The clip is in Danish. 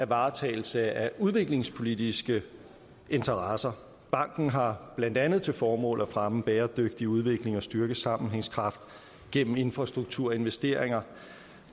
varetagelse af udviklingspolitiske interesser banken har blandt andet til formål at fremme bæredygtig udvikling og styrke sammenhængskraften gennem infrastruktur og investeringer